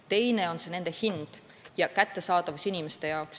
Teine asi on nende hind ja kättesaadavus.